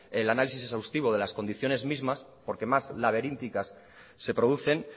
el análisis exhaustivo de las condiciones mismas porque más laberínticas se producen